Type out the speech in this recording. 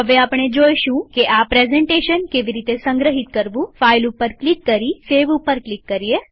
હવે આપણે જોઈશું કે આ પ્રેઝન્ટેશન કેવી રીતે સંગ્રહિત કરવુંફાઈલ ઉપર ક્લિક કરી સેવ ઉપર ક્લિક કરીએ